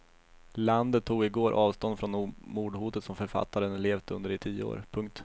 Landet tog i går avstånd från mordhotet som författaren levt under i tio år. punkt